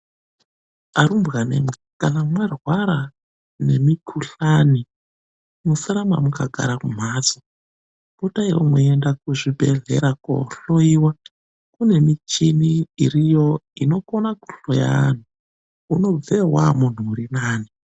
Arumbwanemwi, kana mwarwara nemikhuhlani musaramba makagara kumhatso, potaiwo mweienda kuzvibhedhlera koohloyiwa. Kune michini iriyo inokona kuhloya anhu. Unobveyo waamunhu urinani.